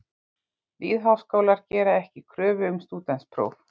Lýðháskólar gera ekki kröfu um stúdentspróf.